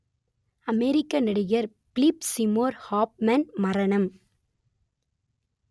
அமெரிக்க நடிகர் Philip Seymour Hoffman மரணம்